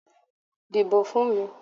Dìbò fún mi!